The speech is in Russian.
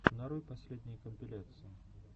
нарой последние компиляции